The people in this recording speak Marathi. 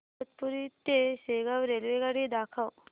इगतपुरी ते शेगाव रेल्वेगाडी दाखव